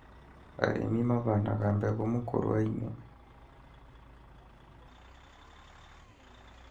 Arĩmi mahandaga mbegũ mĩkũru-inĩ